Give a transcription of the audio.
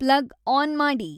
plug on ಮಾಡಿ